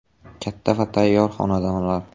Katta va tayyor xonadonlar.